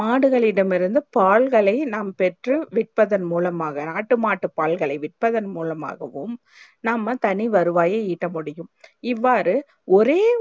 மாடுகளிட மிருந்து பால்களையும் நாம் பெற்று விற்பதன் மூலமாக ஆட்டு மாட்டு பால்களை விற்பதன் மூலமாகவும் நாம தனி வருவாயே இட்ட முடியும் இவ்வாறு ஒரே